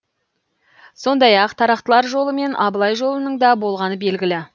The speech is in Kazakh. сондай ақ тарақтылар жолы мен абылай жолының да болғаны белгілі